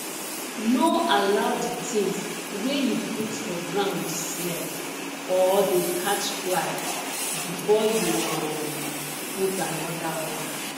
no allow the things wey you put for ground smell or dey catch fly before you um put anoda one